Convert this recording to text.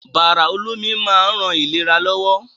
Bàrà olómi máa ń ran ìlera lọ́wọ́.